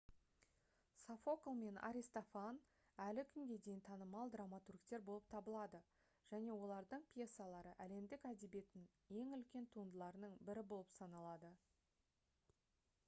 софокл мен аристофан әлі күнге дейін танымал драматургтер болып табылады және олардың пьесалары әлемдік әдебиеттің ең үлкен туындыларының бірі болып саналады